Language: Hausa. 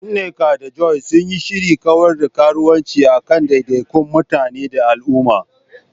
Nneka da Joy sun yi shirin kawar da karuwanci a kan daidaikun mutane da al'umma.